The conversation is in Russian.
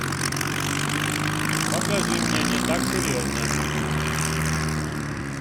покажи мне не так серьезно